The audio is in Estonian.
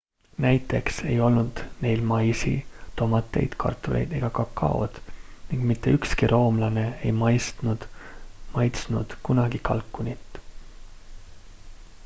näiteks ei olnud neil maisi tomateid kartuleid ega kakaod ning mitte ükski roomlane ei maitsnud kunagi kalkunit